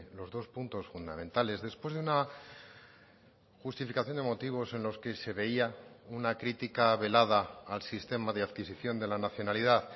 los dos puntos fundamentales después de una justificación de motivos en los que se veía una crítica velada al sistema de adquisición de la nacionalidad